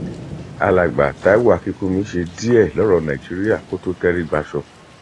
alàgbà taiwo akínkùnmí ṣe díẹ lọrọ nàìjíríà kó tó tẹrígbàsọ